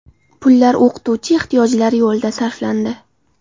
Pullar o‘qituvchi ehtiyojlari yo‘lida sarflandi.